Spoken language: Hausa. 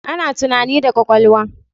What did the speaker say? Ana tunani da kwakwalwa